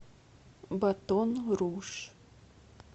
батон руж